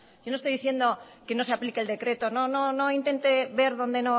yo no estoy diciendo que no se aplique el decreto no no no intente ver donde